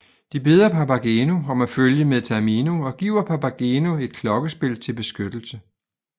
De beder Papageno om at følge med Tamino og giver Papageno et klokkespil til beskyttelse